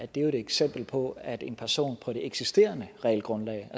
det jo et eksempel på at en person på det eksisterende regelgrundlag